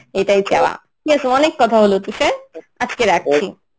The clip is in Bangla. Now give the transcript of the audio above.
এটাই চাওয়া. ঠিকাছে অনেক কথা হলো তুষার আজকে রাখছি.